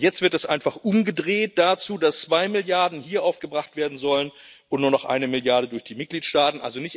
Und jetzt wird es einfach umgedreht dazu, dass zwei Milliarden hier aufgebracht werden sollen und nur noch eine Milliarde durch die Mitgliedstaaten.